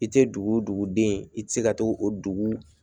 I tɛ dugu dugu den i tɛ se ka to o dugu